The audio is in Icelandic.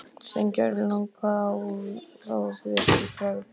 Steingerður lagði á, ráðvillt í bragði.